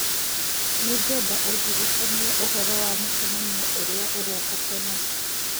nĩ ngwenda ũndirikanie ũhoro wa mũcemanio ũrĩa ũroka tene